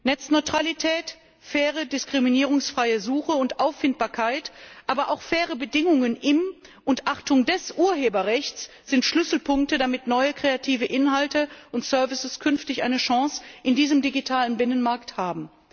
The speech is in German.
Netzneutralität, faire diskriminierungsfreie Suche und Auffindbarkeit, aber auch faire Bedingungen im Urheberrecht und bei dessen Achtung sind Schlüsselpunkte, damit neue kreative Inhalte und services künftig eine Chance in diesem digitalen Binnenmarkt haben.